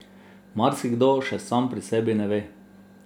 Marsikdo še sam pri sebi ne ve.